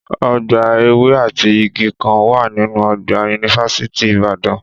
Ọgbà ewé àti igi kan wà nínú ọgbà yunifásítì Ìbàdàn